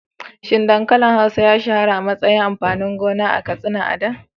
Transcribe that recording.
Shin dankalin hausa ya shahara a matsayin amfanin gona a Katsina a da?